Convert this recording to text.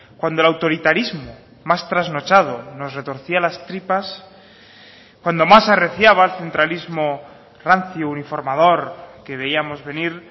cuando el autoritarismo más trasnochado nos retorcía las tripas cuando más arreciaba el centralismo rancio uniformador que veíamos venir